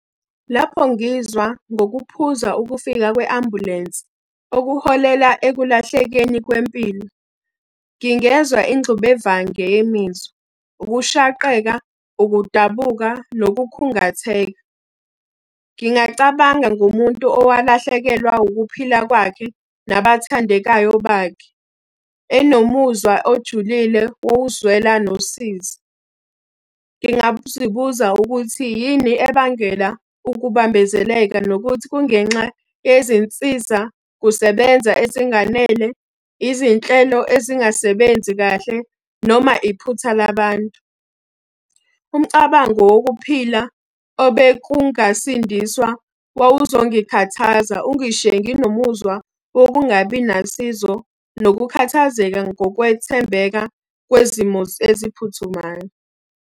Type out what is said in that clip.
Lapho ngizwa ngokuphuza ukufika kwe-ambulensi okuholela ekulahlekeni kwempilo, ngingezwa ingxubevange yemizwa, ukushaqeka, ukudabuka, nokukhungatheka. Ngingacabanga ngomuntu owalahlekelwa ukuphila kwakhe, nabathandekayo bakhe. Enomuzwa ojulile wokuzwela nosizi. Ngingazibuza ukuthi yini ebangela ukubambezeleka nokuthi kungenxa yezinsiza kusebenza ezinganele, izinhlelo ezingasebenzi kahle, noma iphutha labantu. Umcabango wokuphila obekungasindiswa wawuzongikhathaza ungishiye nginomuzwa wokungabi nalusizo, nokukhathazeka ngokwethembeka kwezimo eziphuthumayo.